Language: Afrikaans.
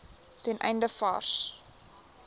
ten einde vars